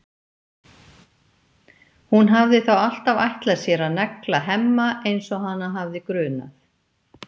Hún hafði þá alltaf ætlað sér að negla Hemma eins og hana hafði grunað.